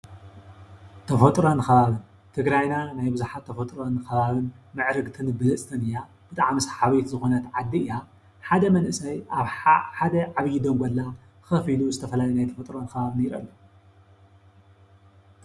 ተፈጥሮን ከባብን-ትግራይና ብብዙሓት ተፈጥሮ ከባቢ ምዕርግትን ብልፅትን እያ፡፡ ብጣዕሚ ሰሓቢት ዝኾነት ዓዲ እያ፡፡ ሓደ መንእሰይ ኣብ ሓደ ዓብዪ ደንጎላ ከፍ ኢሉ ዝተፈላለየ ናይ ተፈጥሮ ከባቢ ይርኢ ኣሎ፡፡